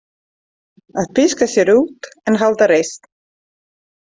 Að píska sér út en halda reisn.